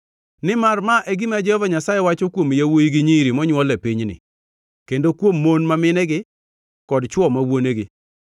Nimar ma e gima Jehova Nyasaye wacho kuom yawuowi gi nyiri monywol e pinyni kendo kuom mon ma minegi kod chwo ma wuonegi: